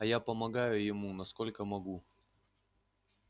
а я помогаю ему насколько могу